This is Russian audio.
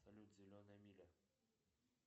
салют зеленая миля